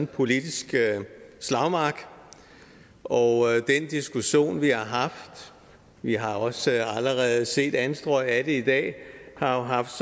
politisk slagmark og den diskussion vi har haft vi har også allerede set anstrøg af det i dag har haft